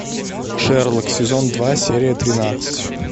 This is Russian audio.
шерлок сезон два серия тринадцать